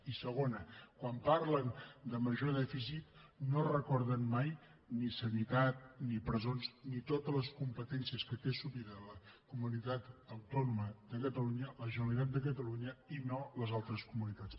i segona quan parlen de major dèficit no recorden mai ni sanitat ni presons ni totes les competències que té assumida la comunitat autònoma de catalunya la generalitat de catalunya i no les altres comunitats